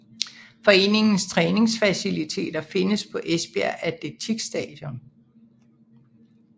Foreningens træningsfaciliteter findes på Esbjerg Atletikstadion